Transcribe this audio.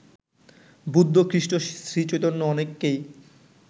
বুদ্ধ, খ্রিস্ট, শ্রীচৈতন্য অনেককেই